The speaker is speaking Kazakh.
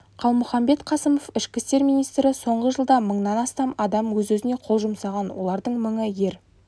қалмұханбет қасымов ішкі істер министрі соңғы жылда мыңнан астам адам өз-өзіне қол жұмсаған олардың мыңы ер